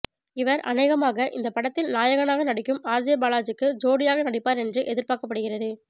இவர் அனேகமாக இந்த படத்தில் நாயகனாக நடிக்கும் ஆர்ஜே பாலாஜிக்கு ஜோடியாக நடிப்பார் என்று எதிர்பார்க்கப்படுகிறது